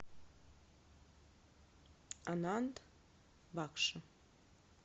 ананд бакши